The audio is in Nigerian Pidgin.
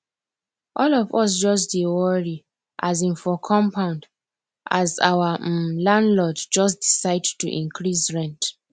all of us just dey worry um for compound as our um landlord just decide to increase rent